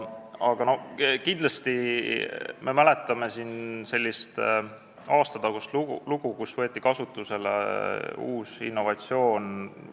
Aga me kindlasti mäletame sellist aastatetagust lugu, kui võrgusilma suuruse mõõtmisel võeti kasutusele innovatsioon.